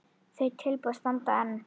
Þau tilboð standa enn.